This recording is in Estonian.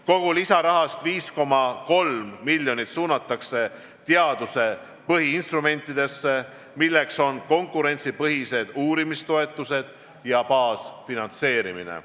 Kogu lisarahast 5,3 miljonit suunatakse teaduse põhiinstrumentidesse, need on konkurentsipõhised uurimistoetused ja baasfinantseerimine.